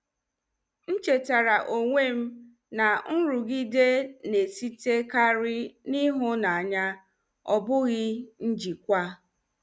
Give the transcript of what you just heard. M chetaara onwe m na nrụgide na-esitekarị n'ịhụnanya, ọ bụghị njikwa.